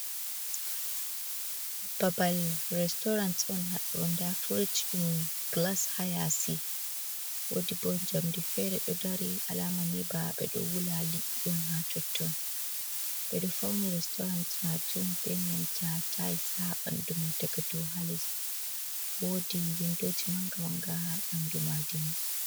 Babbal restorant on Haddo. da firish dum gilas ha yasi. Wodi bo jamdeji fere do dari alamani beɗo wula liɗɗi on ha totton. be do fauni restorant majum be nanta taa's ha bandumai daga dau ha les. Wodi windoji manga manga ha banɗu majum.